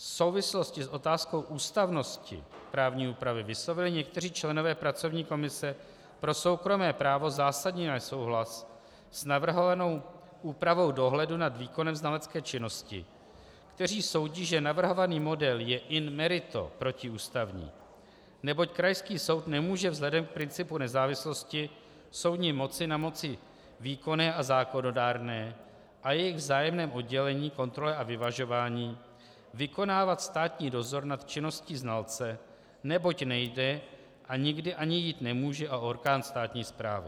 V souvislosti s otázkou ústavnosti právní úpravy vyslovili někteří členové pracovní komise pro soukromé právo zásadní nesouhlas s navrhovanou úpravou dohledu nad výkonem znalecké činnosti, kteří soudí, že navrhovaný model je in merito protiústavní, neboť krajský soud nemůže vzhledem k principu nezávislosti soudní moci na moci výkonné a zákonodárné a jejich vzájemném oddělení, kontrole a vyvažování vykonávat státní dozor nad činností znalce, neboť nejde a nikdy ani jít nemůže o orgán státní správy.